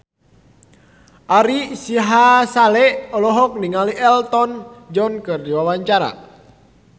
Ari Sihasale olohok ningali Elton John keur diwawancara